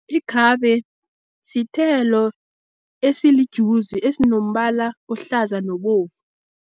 Ikhabe sithelo esilijuzi, esinombala ohlaza nobovu.